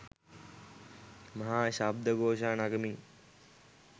මහා ශබ්ද ඝෝෂා නගමින්